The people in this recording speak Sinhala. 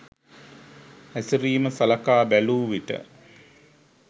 හැසිරීම සලකා බැලූවිට